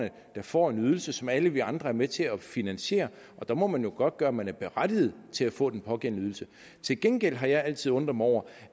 der får en ydelse som alle vi andre er med til at finansiere og der må man jo godtgøre at man er berettiget til at få den pågældende ydelse til gengæld har jeg altid undret mig over